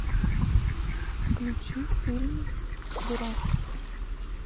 включи фильм дурак